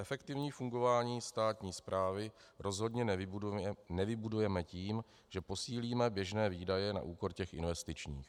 Efektivní fungování státní správy rozhodně nevybudujeme tím, že posílíme běžné výdaje na úkor těch investičních.